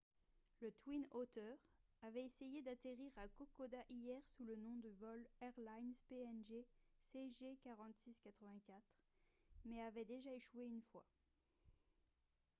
le twin otter avait essayé d'atterrir à kokoda hier sous le nom de vol airlines png cg4684 mais avait déjà échoué une fois